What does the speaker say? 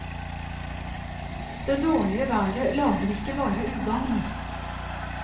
Det dårlige været lager ikke bare ugagn.